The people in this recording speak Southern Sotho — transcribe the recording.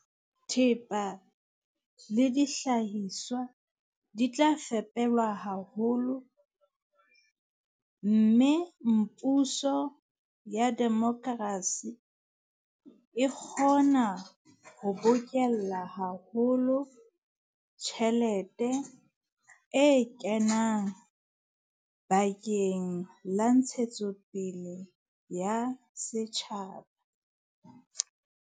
Ntwa kgahlano le tlhokeho ya mosebetsi batjheng e hloka hore ho potlakiswe kgolo ya mosebetsi, haholoholo makaleng a hlokang basebetsi ba bangata, ho ahwe bokgoni ba mmuso ba ho phethahatsa mosebetsi wa ona wa ho hodisa moruo le ho lwantsha bofuma.